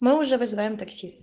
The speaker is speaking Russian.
мы уже вызываем такси